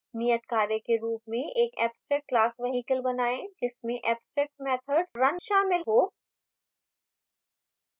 नियतकार्य के रूप में एक abstract class vehicle बनाएँ जिसमें abstract method run शामिल हो